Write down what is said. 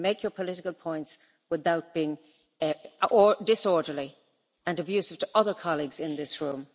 You can make your political points without being disorderly and abusive to other colleagues in this room.